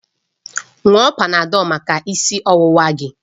Ṅụọ Panadọlu maka isi ọwụwa gị!